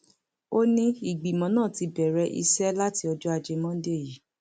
ó ní ìgbìmọ náà ti bẹrẹ iṣẹ láti ọjọ ajé monde yìí